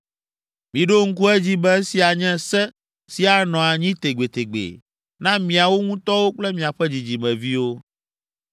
Miɖo ŋku edzi be esia nye se si anɔ anyi tegbetegbe na miawo ŋutɔwo kple miaƒe dzidzimeviwo.